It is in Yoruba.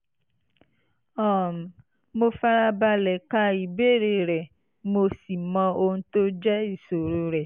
um mo fara balẹ̀ ka ìbéèrè rẹ mo sì mọ ohun tó jẹ́ ìṣòro rẹ